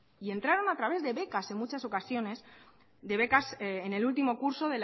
y entraron a través de becas en muchas ocasiones de becas en el último curso